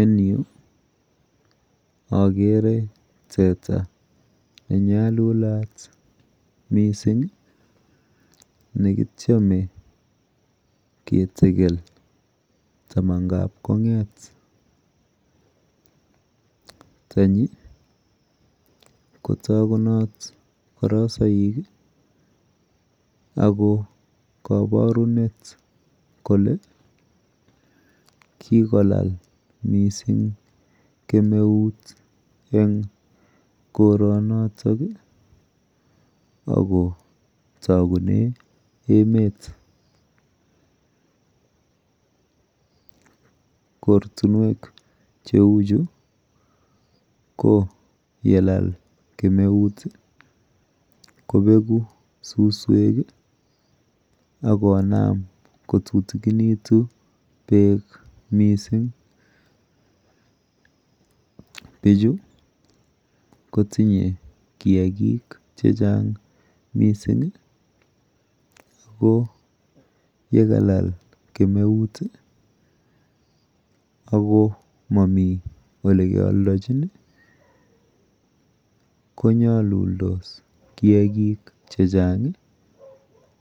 En yu akere teta nenyalulat mising nekityeme ketekel tamankap kong'et. Tanyi kotokunot korosoik ako kabarunet kole kikolal mising kemeut eng koronoto akotokune emet. Kortunwek cheuchu ko yelal kemeut, kobeku suswek akonam kotutikinitu beek mising. Bichu kotinye kiakik chechang mising ako yekalal kemeut ako momi olikealdochin konyoluldos kiakik chechang